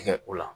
Tigɛ o la